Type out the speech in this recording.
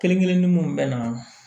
Kelen kelenni mun be na